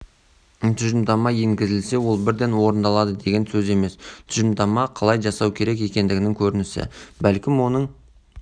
тұжырымдама енгізілсе ол бірден орындалады деген сөз емес тұжырымдама қалай жасау керек екендігінің көрінісі бәлкім оның